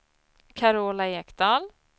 Carola Ekdahl